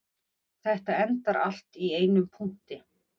Þetta endar allt í einum punkti